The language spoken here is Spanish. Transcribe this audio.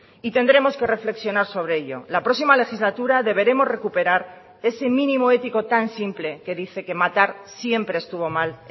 y tendremos que reflexionar sobre ello la próxima legislatura deberemos recuperar ese mínimo ético tan simple que dice que matar siempre estuvo mal